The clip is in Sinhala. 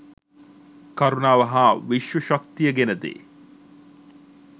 කරුණාව හා විශ්ව ශක්තිය ගෙනදේ.